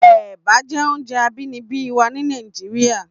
Èbà jé óoùnjè àbínìbí wà ni Nàijiriá